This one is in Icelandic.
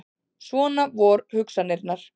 Svona vor hugsanirnar.